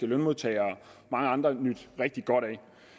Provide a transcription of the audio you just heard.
lønmodtagere og mange andre nydt rigtig godt af